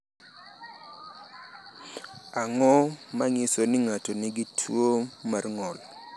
Ang’o ma nyiso ni ng’ato nigi tuwo mar ng’ol?